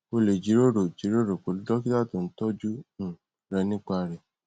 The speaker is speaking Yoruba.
o le jiroro jiroro pelu dokita to n toju um renipa re